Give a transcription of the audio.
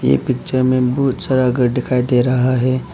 ये पिक्चर में बहुत सारा घर दिखाई दे रहा है।